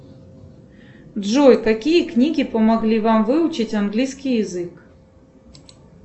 джой какие книги помогли вам выучить английский язык